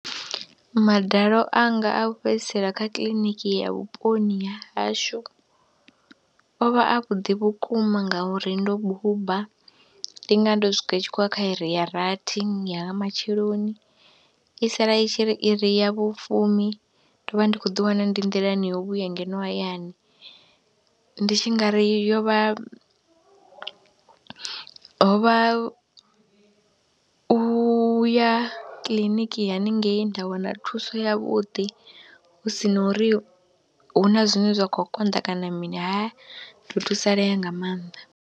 Madalo anga a u fhedzisela kha kiḽiniki ya vhuponi ha hashu o vha avhuḓi vhukuma ngauri ndo buba, ndi nga vha ndo swika i tshi khou ya kha iri ya rathi ya nga matsheloni, i tshi sala i tshi ri iri ya vhufumi, ndo vha ndi khou ḓiwana ndi nḓilani yo vhuya ngeno hayani. Ndi tshi nga ri yo vha, ho vha u ya kiḽiniki haningei nda wana thuso yavhuḓi hu si na uri hu na zwine zwa khou konḓa kana mini, ha ndo thusalea nga maanḓa.